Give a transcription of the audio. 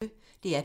DR P1